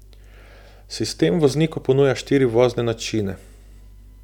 Sistem vozniku ponuja štiri vozne načine.